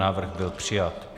Návrh byl přijat.